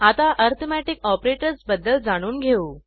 आता arithmetic operators बद्दल जाणून घेऊ